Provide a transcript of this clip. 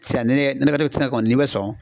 Sisan ni ne ka kɔni ni bɛ sɔn